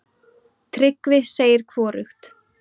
Tryggvi segir hvorugt.